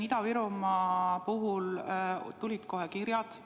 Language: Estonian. Ida-Virumaa puhul tulid kohe kirjad.